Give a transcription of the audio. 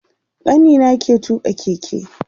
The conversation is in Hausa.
Kanina ke tuƙa keke